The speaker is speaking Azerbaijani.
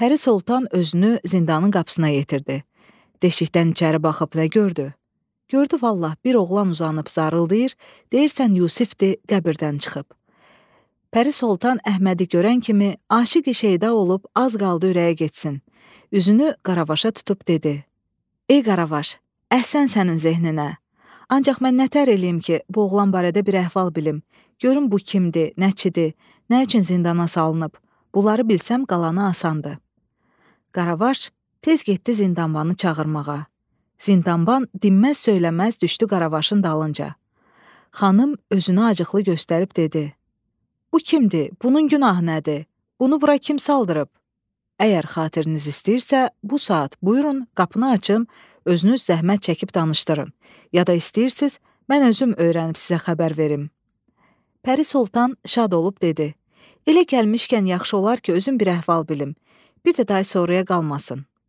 Bir də day sonraya qalmasın.